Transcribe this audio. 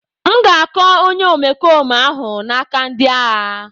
M ga-akọ onye omekome ahụ n'aka ndị agha.